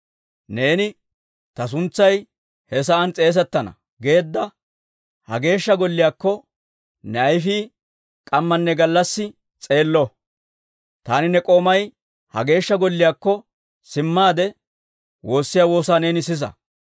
Neeni ‹Ta suntsay he sa'aan s'eesettana› geedda ha Geeshsha Golliyaakko, ne ayfii k'ammanne gallassi s'eello. Taani ne k'oomay ha Geeshsha Golliyaakko simmaade, woossiyaa woosaa neeni sisa.